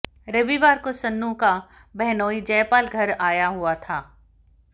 रविवार को सन्नू का बहनोई जयपाल घर आया हुआ था